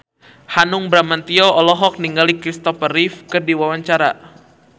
Hanung Bramantyo olohok ningali Kristopher Reeve keur diwawancara